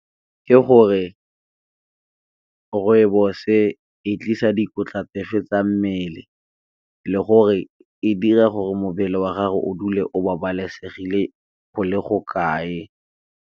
Ke gore rooibos e tlisa dikotla tsefe tsa mmele, le gore e dira gore mmele wa gago o dule o babalesegile go le go kae.